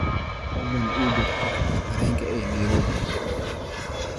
Fadlan ii jar tikidhka tareenka ee Nairobi